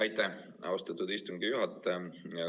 Aitäh, austatud istungi juhataja!